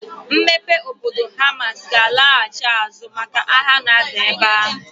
Mmepe obodo Hamas ga-alaghachi azụ maka agha na-ada ebe ahụ.